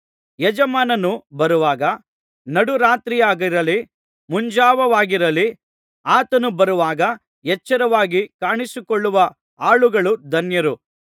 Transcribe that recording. ಯಜಮಾನನು ಬರುವಾಗ ನಡು ರಾತ್ರಿಯಾಗಿರಲಿ ಮುಂಜಾವವಾಗಿರಲಿ ಆತನು ಬರುವಾಗ ಎಚ್ಚರವಾಗಿ ಕಾಣಿಸಿಕೊಳ್ಳುವ ಆಳುಗಳು ಧನ್ಯರು